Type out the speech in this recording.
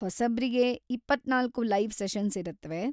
ಹೊಸಬ್ರಿಗೆ ಇಪ್ಪತ್ತ್ನಾಲ್ಕು live sessions ಇರತ್ವೆ.